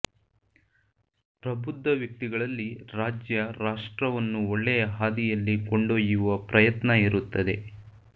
ಪ್ರಬುದ್ಧ ವ್ಯಕ್ತಿಗಳಲ್ಲಿ ರಾಜ್ಯ ರಾಷ್ಟ್ರವನ್ನು ಒಳ್ಳೆಯ ಹಾದಿಯಲ್ಲಿ ಕೊಂಡೊಯ್ಯುವ ಪ್ರಯತ್ನ ಇರುತ್ತದೆ